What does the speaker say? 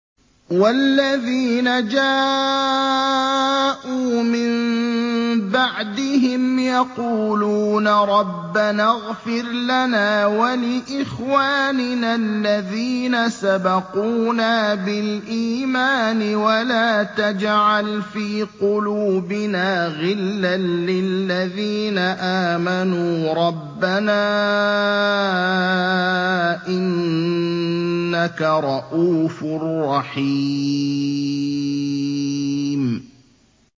وَالَّذِينَ جَاءُوا مِن بَعْدِهِمْ يَقُولُونَ رَبَّنَا اغْفِرْ لَنَا وَلِإِخْوَانِنَا الَّذِينَ سَبَقُونَا بِالْإِيمَانِ وَلَا تَجْعَلْ فِي قُلُوبِنَا غِلًّا لِّلَّذِينَ آمَنُوا رَبَّنَا إِنَّكَ رَءُوفٌ رَّحِيمٌ